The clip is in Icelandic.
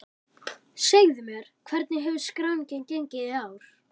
Segðu mér, hvernig hefur skráningin gengið í ár?